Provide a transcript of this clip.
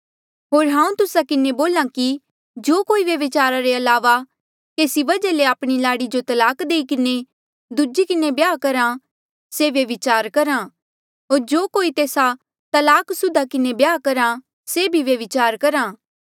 होर हांऊँ तुस्सा किन्हें बोल्हा कि जो कोई व्यभिचारा रे अलावा केसी वजहा ले आपणी लाड़ी जो तलाक देई किन्हें दूजी किन्हें ब्याह करहा से व्यभिचार करहा होर जो कोई तेस्सा तलाकसुदा किन्हें ब्याह करहा से भी व्यभिचार करहा